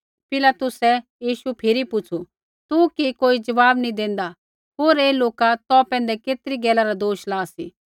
पिलातुसै यीशु फिरी पुछ़ू तू कि कोई ज़वाब नी देंदा हेर ऐ लोका तौ पैंधै केतरी गैला रा दोष ला सी